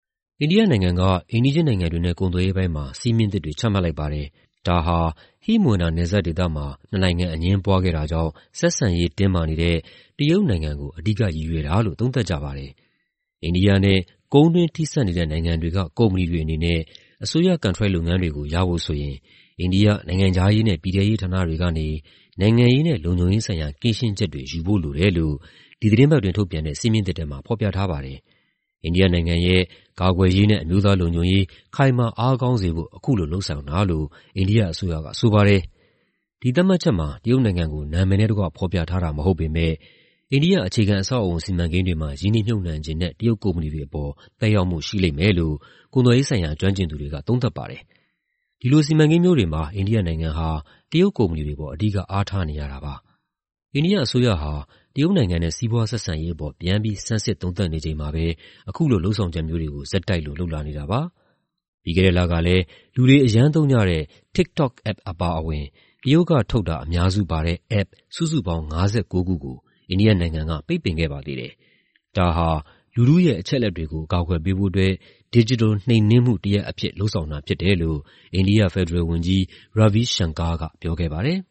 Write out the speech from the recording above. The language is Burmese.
အိန္ဒိယနိုင်ငံက အိမ်နီးချင်းနိုင်ငံတွေနဲ့ ကုန်သွယ်ရေးပိုင်းမှာ စည်းမျဉ်းသစ်တွေ ချမှတ်လိုက်ပါတယ်။ ဒါဟာ ဟိမဝန္တာ နယ်စပ်ဒေသမှာ နှစ်နိုင်ငံ အငြင်းပွားခဲ့တာကြောင့် ဆက်ဆံရေး တင်းမာနေတဲ့ တရုတ်နိုင်ငံကို အဓိကရည်ရွယ်တာလို့ သုံးသပ်ကြပါတယ်။ အိန္ဒိယနဲ့ ကုန်းတွင်းထိစပ်နေတဲ့ နိုင်ငံတွေက ကုမ္ပဏီတွေအနေနဲ့ အစိုးရ ကန်ထရိုက်လုပ်ငန်းတွေကို ရဖို့ဆိုရင် အိန္ဒိယ နိုင်ငံခြားရေးနဲ့ ပြည်ထဲရေးဌာနတွေကနေ နိုင်ငံရေးနဲ့ လုံခြုံရေးဆိုင်ရာ ကင်းရှင်းချက်တွေ ယူဖို့လိုတယ်လို့ ဒီသီတင်းပတ်အတွင်း ထုတ်ပြန်တဲ့ စည်းမျဉ်းသစ်ထဲမှာ ဖော်ပြထားပါတယ်။ အိန္ဒိယနိုင်ငံရဲ့ ကာကွယ်ရေးနဲ့ အမျိုးသားလုံခြံုံရေး ခိုင်မာအားကောင်းစေဖို့ အခုလို လုပ်ဆောင်တာလို့ အိန္ဒိယအစိုးရက ဆိုပါတယ်။ ဒီသတ်မှတ်ချက်မှာ တရုတ်နိုင်ငံကို နာမည်နဲ့တကွ ဖော်ပြထားတာ မဟုတ်ပေမယ့် အိန္ဒိယ အခြေခံအဆောက်အအုံ စီမံကိန်းတွေမှာ ရင်းနှီးမြှုပ်နှံချင်တဲ့ တရုတ်ကုမ္ပဏီတွေအပေါ် သက်ရောက်မှု ရှိလိမ့်မယ်လို့ ကုန်သွယ်ရေးဆိုင်ရာ ကျွမ်းကျင်သူတွေက သုံးသပ်ပါတယ်။ ဒီလိုစီမံကိန်းမျိုးတွေမှာ အိန္ဒိယနိုင်ငံဟာ တရုတ်ကုမ္ပဏီတွေအပေါ် အဓိက အားထားနေရတာ ဖြစ်ပါတယ်။ အိန္ဒိယအစိုးရဟာ တရုတ်နိုင်ငံနဲ့ စီးပွားဆက်ဆံရေးအပေါ် ပြန်ပြီး ဆန်းစစ်သုံးသပ်နေချိန်မှာပဲ အခုလို လုပ်ဆောင်ချက်မျိုးတွေကို ဆက်တိုက်လို လုပ်လာနေတာပါ။ ပြီးခဲ့တဲ့လကလည်း လူတွေ အရမ်းသုံးကြတဲ့ TikTok App အပါအဝင် တရုတ်ကထုတ်တာ အများစုပါတဲ့ App စုစုပေါင်း ၅၉ ခုကို အိန္ဒိယနိုင်ငံက ပိတ်ပင်ခဲ့ပါသေးတယ်။ ဒါဟာ လူထုရဲ့ အချက်အလက်တွေကို အကာအကွယ်ပေးဖို့အတွက် ဒစ်ဂျစ်တယ်လ် နှိမ်နင်းမှုတရပ်အဖြစ် လုပ်ဆောင်တာဖြစ်တယ်လို့ အိန္ဒိယ ဖက်ဒရယ်ဝန်ကြီး Ravi Shankar က ပြောခဲ့ပါတယ်